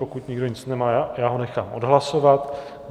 Pokud nikdo nic nemá, já ho nechám odhlasovat.